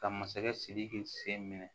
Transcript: Ka masakɛ sidiki sen minɛ